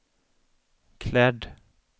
klädd